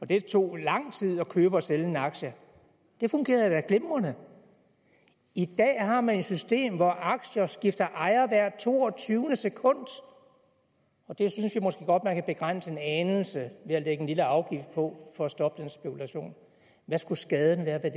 det tog lang tid at købe og sælge en aktie det fungerede da glimrende i dag har man et system hvor aktier skifter ejer hvert toogtyvende sekund og det synes jeg måske godt at man kunne begrænse en anelse ved at lægge en lille afgift på for at stoppe den spekulation hvad skulle skaden være ved